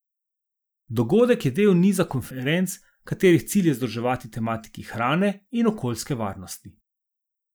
Dogodek je del niza konferenc, katerih cilj je združevati tematiki hrane in okoljske varnosti.